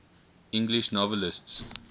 english novelists